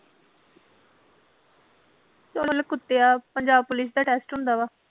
ਚੱਲ ਕੁੱਤਿਆਂ ਪੰਜਾਬ ਪੁਲਿਸ ਦਾ test ਹੁੰਦਾ ਵਾ